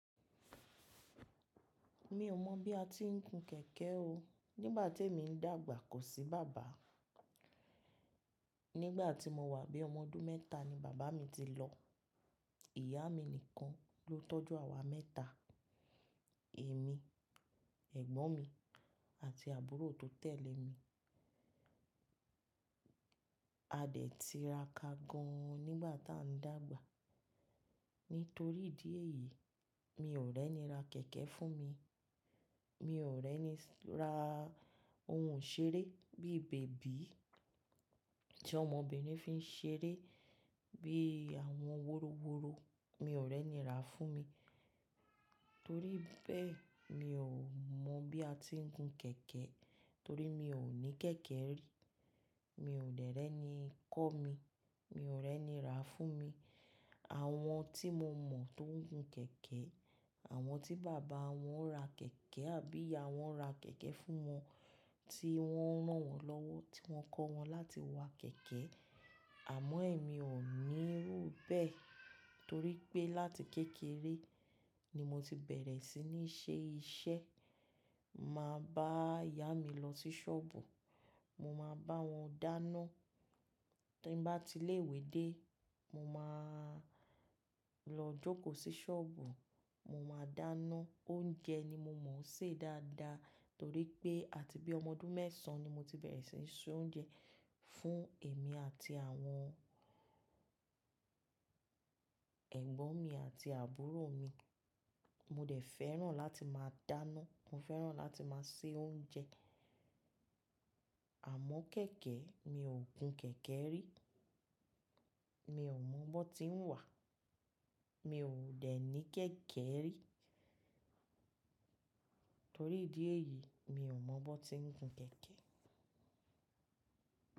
Mi ò mọ̀ bí a ti ń gun kẹ̀kẹ́ o. Nígbà tí èmi ń dàgbà ko sí bàbá, nígbà tí mo wà bí ọmọ ọdún mẹ́ta ni bàbá mi ti lọ. Ìyá mi nìkan ló tọ́jú àwa mẹ́ta: èmi, ẹ̀gbọ́n mi àti àbúrò tó tẹ̀lé mi. A dẹ̀ ti rà ká gan an nígbà tá a ń dàgbà. Nítorí ìdí èyí, mi ò rẹ́ni ra kẹ̀kẹ́ fún mi. Mi ò rẹ́ni ra Ohun ìṣeré bí i bèbí tí ọmọbìnrin fi ń ṣeré, bí i àwọn wórówóró, mi ò rẹ́ni rà á fún mi. Torí bẹ́ẹ̀, mi ò mọ̀ bí a ti ń gun kẹ̀kẹ́ torí mi ò ní kẹ̀kẹ́ rí. Mi ò dẹ̀ rẹ́ni kọ́ mi, mi ò rẹ́ni rà á fún mi. Àwọn tí mo mọ̀ tó ń gun kẹ̀kẹ́, àwọn tí bàbá wọn ra kẹ̀kẹ́ àbí ìyá wọn ra kẹ̀kẹ́ fún wọn tí wọ́n rànwọ́ lọ́wọ́ tí wọ́n kọ́ wọn láti wa kẹ̀kẹ́. Àmọ́ èmi ò ní rò bẹ́ẹ̀ torí pé láti kékeré ni mo ti bẹ̀rẹ̀ sí ní ṣe iṣẹ́. Màá n bá ìyá mi lọ sí ṣọ́ọ̀bù, mo máa bá wọn dáná. Tí n bá ti ilé ìwé dé, mo máa lọ jókòó sí ṣọ́ọ̀bù, mo máa dáná. Oúnjẹ ni mo mọ̀ ọ́ ṣẹ̀ dáadáa torí pé àti bí ọmọ ọdún mẹ́sàn-án ni mo ti bẹ̀rẹ̀ sí ń se oúnjẹ. Fún èmi àti àwọn ẹ̀gbọ́n mi àti àbúrò mi. Mo dẹ̀ fẹ́ràn láti máa dáná, mo fẹ́ràn láti máa se oúnjẹ. Àmọ́ kẹ̀kẹ́, mi ò gun kẹ̀kẹ́ rí. Mi ò mọ bón tí ń wà, mi ò dẹ̀ ní kẹ̀kẹ́ rí. Torí ìdí èyí, mi ò mọ bó tí ń gun kẹ̀kẹ́.